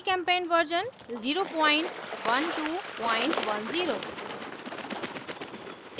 gchempaint version 01210